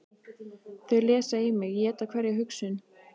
Þau lesa í mig, éta hverja hugsun.